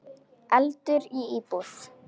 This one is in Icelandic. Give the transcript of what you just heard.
Eldur í íbúð